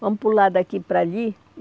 Vamos pular daqui para ali.